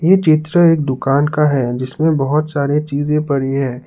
ये चित्र एक दुकान का है जिसमें बहोत सारी चीजें पड़ी है।